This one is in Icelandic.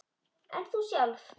En þú sjálf?